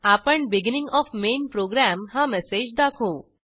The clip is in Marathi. आपण बिगिनिंग ओएफ मेन प्रोग्राम हा मेसेज दाखवू